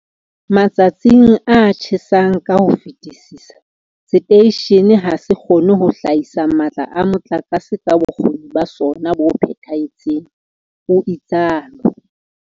Matsatsing a tjhesang ka ho fetisisa, seteishene ha se kgone ho hlahisa matla a motlakase ka bokgoni ba sona bo phethahetseng, o itsalo.